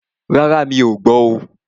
Rárá, mí ọ̀ gbọ́ oo.